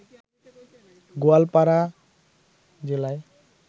গোয়ালপাড়া জেলায়